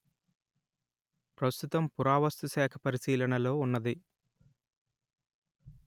ప్రస్తుతం పురావస్థుశాఖ పరిశీలనలో ఉన్నది